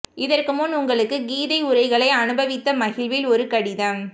இதற்கு முன் உங்களுக்கு கீதை உரைகளை அனுபவித்த மகிழ்வில் ஒரு கடிதம்